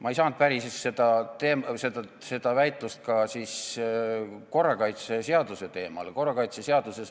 Ma ei saanud päriselt seda väitlust viia korrakaitseseaduse teemale.